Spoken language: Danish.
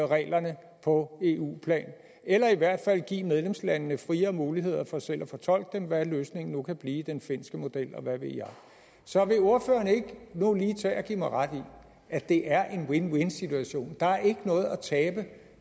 reglerne på eu plan eller i hvert fald givet medlemslandene friere muligheder for selv at fortolke dem eller hvad løsningen kan blive for eksempel den finske model eller hvad ved jeg så vil ordføreren ikke nu lige tage og give mig ret i at det er en win win situation der er ikke noget at tabe